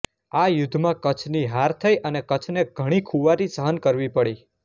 આ યુદ્ધમાં કચ્છની હાર થઈ અને કચ્છને ઘણી ખુવારી સહન કરવી પડી